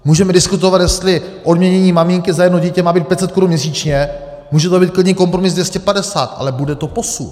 Můžeme diskutovat, jestli odměnění maminky za jedno dítě má být 500 korun měsíčně, může to být klidně kompromis 250, ale bude to posun.